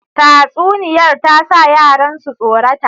Tatsuniyar ta sa yaran su tsorata.